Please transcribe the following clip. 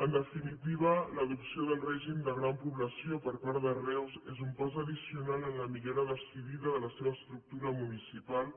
en definitiva l’adopció del règim de gran població per part de reus és un pas addicional en la millora decidida de la seva estructura municipal